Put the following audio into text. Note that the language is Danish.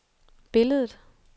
billedet